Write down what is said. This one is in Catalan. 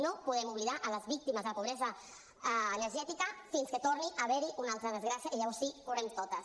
no podem oblidar les víctimes de pobresa energètica fins que torni a haver hi una altra desgràcia i llavors sí correm hi totes